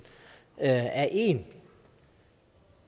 er én